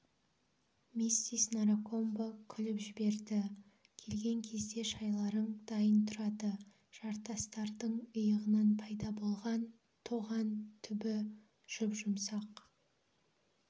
миссис наракомбо күліп жіберді келген кезде шайларың дайын тұрады жартастардың йығынан пайда болған тоған түбі жұп-жұмсақ